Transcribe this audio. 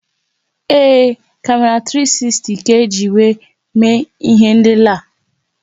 Ee, kamera 360 ka-eji wéé mee ihé nlélé a